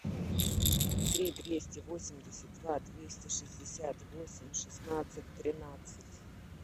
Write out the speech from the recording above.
три двести восемьдесят два двести шестьдесят восемь шестнадцать тринадцать